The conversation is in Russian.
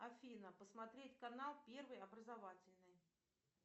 афина посмотреть канал первый образовательный